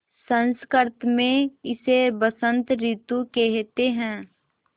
संस्कृत मे इसे बसंत रितु केहेते है